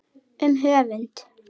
Um höfund